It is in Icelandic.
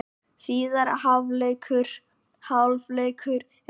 Síðari hálfleikur er hafinn